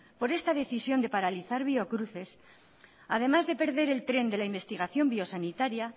por esta decisión de paralizar biocruces además de perder el tren de la investigación biosanitaria